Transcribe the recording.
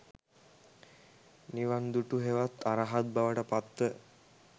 නිවන් දුටු හෙවත් අරහත් බවට පත්ව